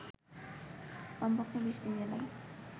কমপক্ষে ২০টি জেলায়